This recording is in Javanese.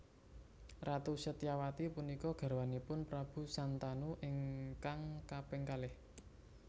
Ratu Satyawati punika garwanipun Prabu Santanu ingkang kaping kalih